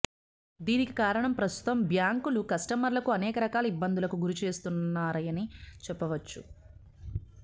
దీనికి కారణం ప్రస్తుతం బ్యాంకులు కస్టమర్లకు అనేక రకాల ఇబ్బందులకు గురి చేస్తున్నాయని చెప్పవచ్చు